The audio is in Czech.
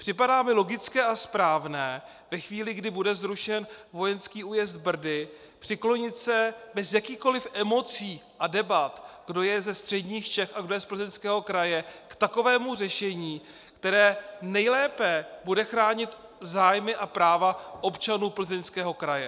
Připadá mi logické a správné ve chvíli, kdy bude zrušen vojenský újezd Brdy, přiklonit se bez jakýchkoliv emocí a debat, kdo je ze středních Čech a kdo je z Plzeňského kraje, k takovému řešení, které nejlépe bude chránit zájmy a práva občanů Plzeňského kraje.